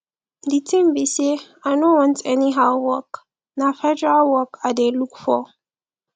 the thing be say i no want anyhow work na federal work i dey look for